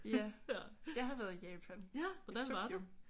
Ja. Jeg har været i Japan i Tokyo